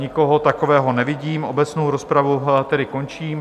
Nikoho takového nevidím, obecnou rozpravu tedy končím.